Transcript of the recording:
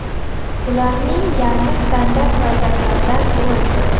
Ularning yarmi standart vaziyatlardan urildi.